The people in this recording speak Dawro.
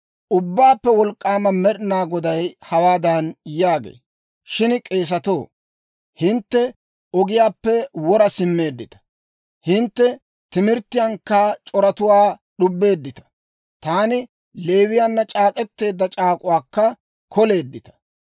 Ubbaappe Wolk'k'aama Med'ina Goday hawaadan yaagee; «Shin k'eesatoo, hintte ogiyaappe wora simmeeddita; hintte timirttiyankka c'oratuwaa d'ubbeeddita; taani Leewiyaanna c'aak'k'eteedda c'aak'uwaakka koleeddita.